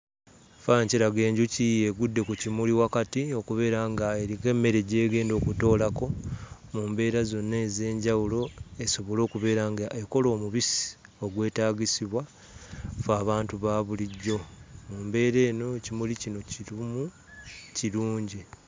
Ekifaananyi kiraga enjuki egudde ku kimuli wakati okubeera ng'eriko emmere gy'egenda okutoolako mu mbeera zonna ez'enjawulo esobole okubeera ng'ekola omubisi ogwetaagisibwa ffe abantu ba bulijjo. Mu mbeera mbeera eno, ekimuli kino ky'erimu kirungi.